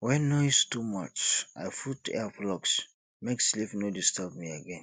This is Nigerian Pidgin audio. when noise too much i put earplugs make sleep no disturb me again